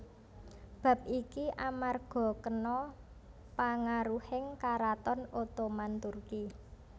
Bab iki amarga kena pangaruhing Karaton Ottoman Turki